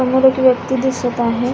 समोर एक व्यक्ति दिसत आहे.